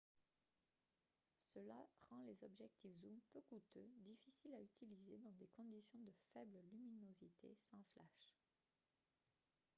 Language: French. cela rend les objectifs zoom peu coûteux difficiles à utiliser dans des conditions de faible luminosité sans flash